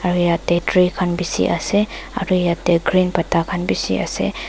aru yatae tree khan bisi ase aro yatae green pata khan bishiase.